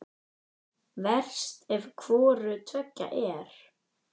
Verst ef hvoru tveggja er.